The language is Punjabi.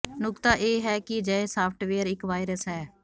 ਨੁਕਤਾ ਇਹ ਹੈ ਕਿ ਅਜਿਹੇ ਸਾਫਟਵੇਅਰ ਇੱਕ ਵਾਇਰਸ ਹੈ